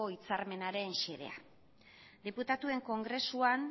hitzarmenaren xedea diputatuen kongresuan